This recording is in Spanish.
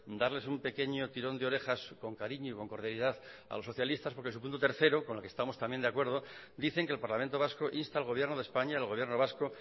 darles un pequeño tirón de orejas con cariño y con cordialidad a los socialistas porque su punto tres con el que estamos también de acuerdo dicen que el parlamento vasco insta al gobierno de españa al gobierno vasco